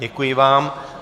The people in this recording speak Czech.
Děkuji vám.